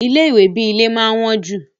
Ilé ìwé bi ilé máa n wọn jú.